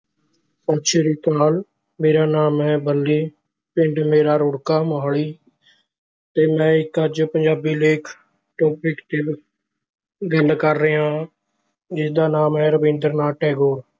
ਸਤਿ ਸ੍ਰੀ ਅਕਾਲ ਮੇਰਾ ਨਾਮ ਹੈ ਬਲੀ ਪਿੰਡ ਮੇਰਾ ਰੁੜਕਾ ਮੁਹਾਲੀ ਤੇ ਮੈਂ ਇੱਕ ਅੱਜ ਪੰਜਾਬੀ ਲੇਖ topic ਤੇ ਗੱਲ ਕਰ ਰਿਹਾ ਹਾਂ ਜਿਸਦਾ ਨਾਮ ਹੈ ਰਬਿੰਦਰ ਨਾਥ ਟੈੈਗੋਰ।